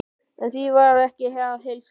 En því var ekki að heilsa.